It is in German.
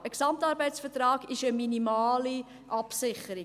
Ein GAV ist eine minimale Absicherung.